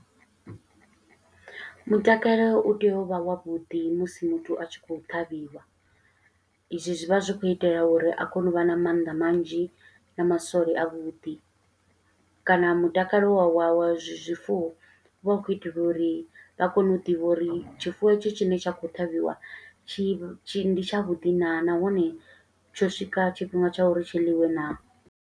Mutakala u tea u vha wavhuḓi musi muthu a tshi khou ṱhavhiwa. I zwi zwi vha zwi khou itela uri a kone u vha na mannḓa manzhi, na masole a vhuḓi. Kana mutakalo wa wa wa zwifuwo vha khou itela uri vha kone u ḓivha uri tshifuwo hetshi tshine tsha khou ṱhavhiwa, tshi tshi ndi tshavhuḓi naa, nahone tsho swika tshifhinga tsha uri tshi ḽiwe naa.